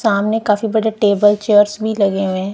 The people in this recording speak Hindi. सामने काफी बड़े टेबल चेयर्स भी लगे हुए हैं।